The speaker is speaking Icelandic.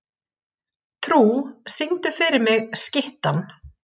Trú, syngdu fyrir mig „Skyttan“.